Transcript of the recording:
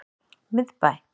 Miðbæ